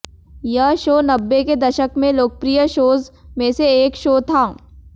यह शो नब्बे के दशक में लोकप्रिय शोज में से एक शो था